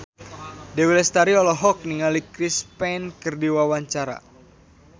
Dewi Lestari olohok ningali Chris Pane keur diwawancara